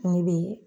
Ne bɛ